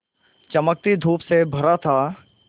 चमकती धूप से भरा था